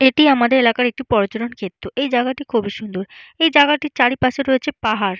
এটি আমাদের এলাকার একটি পর্যটন ক্ষেত্র এই জায়গাটি খুবই সুন্দর এই জায়গাটির চারিপাশে রয়েছে পাহাড়।